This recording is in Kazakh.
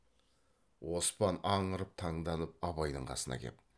оспан аңырып таңданып абайдың қасына кеп